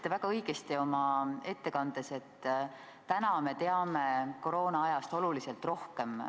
Te ütlesite oma ettekandes väga õigesti, et täna me teame koroonaajast oluliselt rohkem.